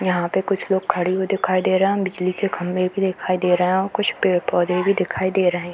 यहाँ पे कुछ लोग खड़े हुए दिखाई दे रहें हैं। बिजली के खम्भे भी दिखाई दे रहें हैं और कुछ पेड़-पौधे भी दिखाई दे रहें हैं।